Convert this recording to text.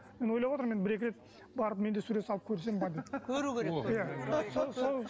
енді ойлап отырмын енді бір екі рет барып мен де сурет салып көрсем бе деп көру керек